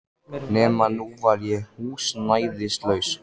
Nema að nú var ég húsnæðislaus.